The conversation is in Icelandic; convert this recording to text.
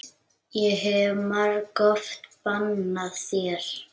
Ég hef margoft bannað þér.